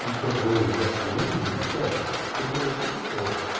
никто твой уебанского мнения не спрашивает тебе говорят ну что